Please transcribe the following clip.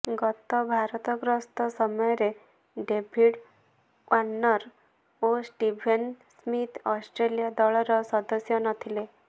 ଗତ ଭାରତ ଗସ୍ତ ସମୟରେ ଡେଭିଡ୍ ୱାର୍ଣ୍ଣର ଓ ଷ୍ଟିଭେନ ସ୍ମିଥ୍ ଅଷ୍ଟ୍ରେଲିଆ ଦଳର ସଦସ୍ୟ ନଥିଲେ